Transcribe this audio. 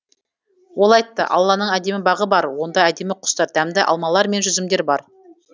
ол айтты алланың әдемі бағы бар онда әдемі құстар дәмді алмалар мен жүзімдер бар